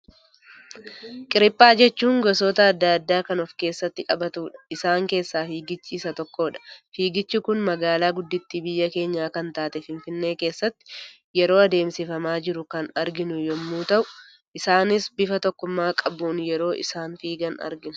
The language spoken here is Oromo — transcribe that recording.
Qiriphaa jechuun gosoota addaa addaa kan of keessatti qabatudha. Isaan keessaa fiigichi isa tokko dha. Fiigichi Kun magaalaa gudditti biyya keenyaa kan taate finfinnee keessatti yeroo adeemsifamaa jiru kan arginu yemmuu ta'u, isaanis bifa tokkummaa qabuun yeroo isaan fiigan argina.